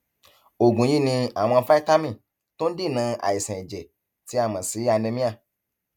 oògùn yìí ní àwọn fítámì tó ń dènà àìsàn ẹjẹ tí a mọ sí anemia